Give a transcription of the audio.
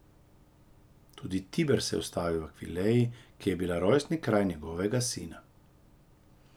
Tudi Tiber se je ustavil v Akvileji, ki je bila rojstni kraj njegovega sina.